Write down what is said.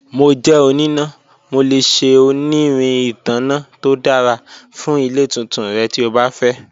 Mo jẹ onina, Mo le ṣe onirin itanna to dara fun ile tuntun rẹ ti o ba fẹ.